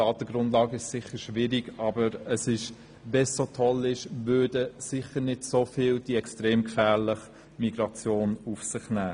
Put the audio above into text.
Die Datengrundlage ist sicher schwierig, aber wenn es so toll wäre, würden sicher nicht so viele Menschen die extrem gefährliche Migration auf sich nehmen.